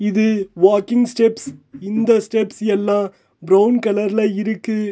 இது walking steps இந்த steps எல்லா பிரவுன் கலர்ல இருக்கு.